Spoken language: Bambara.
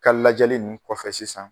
Ka lajɛli nn kɔfɛ sisan